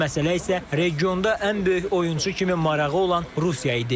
Üçüncü məsələ isə regionda ən böyük oyunçu kimi marağı olan Rusiya idi.